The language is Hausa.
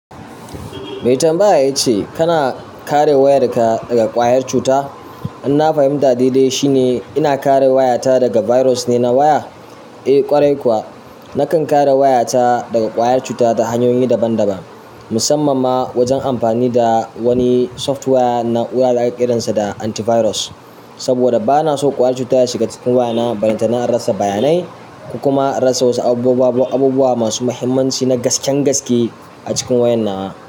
Maitambaya yace kana kare wayarka daga ƙwayar cuta. Inna fahimta daidai shine ina kare wayata daga virus ne na waya? Eh kwarai kuwa. Nakan kare wayata daga ƙwayar cuta ta hanyoyi daban-daban musamman ma wajen amfani da wani softwaya na waya da ƙiransa da antivirus. Saboda bana so ƙwayar cuta ta shiga cikin wayana ballantana na rasa bayanai kuma in rasa wasu abubuwan abubuwa masu muhimmanci na gasken gaske a cikin wayan nawa.